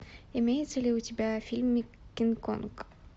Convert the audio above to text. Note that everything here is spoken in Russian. имеется ли у тебя фильм кинг конг